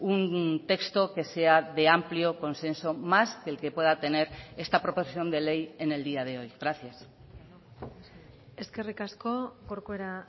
un texto que sea de amplio consenso más del que pueda tener esta proposición de ley en el día de hoy gracias eskerrik asko corcuera